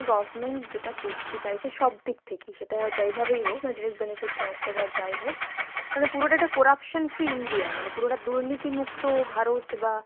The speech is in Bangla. government যেটা করতে চাইছে সবদিক থেকেই সেটা যেভাবেই হোক, মানে direct benefit transfer বা যাই হোক, তাহলে পুরোটা একটা corruption free India মানে পুরোটা দুর্নীতি মুক্ত ভারত বা